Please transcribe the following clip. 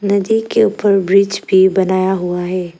नदी के ऊपर ब्रिज भी बनाया हुआ है।